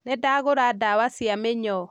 Nĩndagũra ndawa cia mĩnyoo